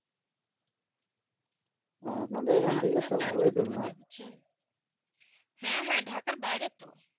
হেঁ আপনাদের হেঁ হেনঢাকার বাইরে তো